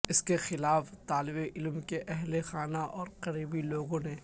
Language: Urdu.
اس کے خلاف طالب علم کے اہل خانہ اور قریبی لوگوں نے